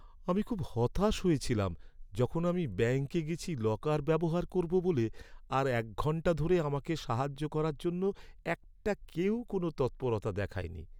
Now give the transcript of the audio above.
আমি খুব হতাশ হয়েছিলাম যখন আমি ব্যাংকে গেছি লকার ব্যবহার করব বলে আর এক ঘণ্টা ধরে আমাকে সাহায্য করার জন্য একটা কেউ কোনো তৎপরতা দেখায়নি!